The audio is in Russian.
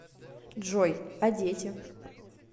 джой а дети